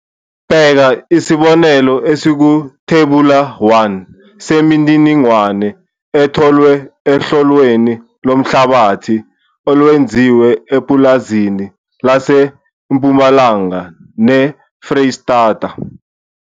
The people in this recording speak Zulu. Bheka isibonelo esikuThebula 1 semininingwane etholwe ohloweni lomhlabathi olwenziwe epulazini laseMpumalanga neFreyistata.